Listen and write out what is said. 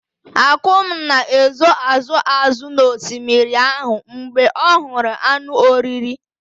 Akum na-ezo azụ azụ n'osimiri ahụ mgbe ọ hụrụ anụ oriri.